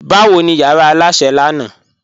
Bawo ni yara alásẹ̀ lánà?